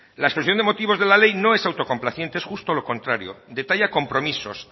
la exposición de motivos de la ley no es autocomplaciente es justamente lo contrario detalla compromisos